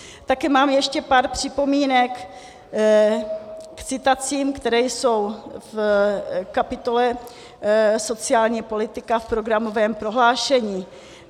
Také mám ještě pár připomínek k citacím, které jsou v kapitole Sociální politika v programovém prohlášení.